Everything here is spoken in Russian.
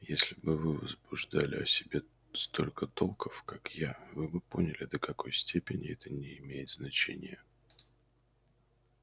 если бы вы возбуждали о себе столько толков как я вы бы поняли до какой степени это не имеет значения